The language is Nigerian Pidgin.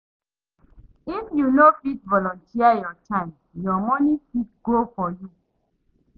If you no fit volunteer your time your money fit go for you